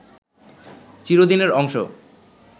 চিরদিনের অংশ